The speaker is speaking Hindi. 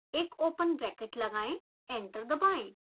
एक ओपन ब्रैकेट लगाएं एंटर दबाएं